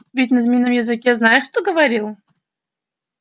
ведь на змеином языке знаешь кто говорил